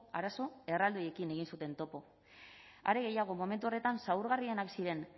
arazo erraldoiekin egin zuten topo are gehiago momentu horretan zaurgarrienak ziren